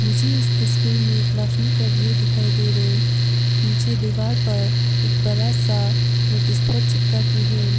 मुझे इस तस्वीर में क्लासरूम का व्यू दिखाई दे रहा है पीछे दीवार पर एक बड़ा सा नोटिस बोर्ड चिपका के है।